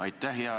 Aitäh!